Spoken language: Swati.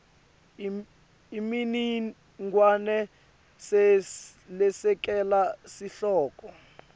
imininingwane lesekela sihloko